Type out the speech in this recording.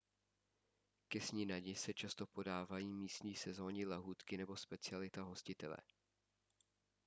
ke snídani se často podávají místní sezónní lahůdky nebo specialita hostitele